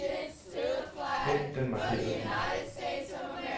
Hent den markerede fil.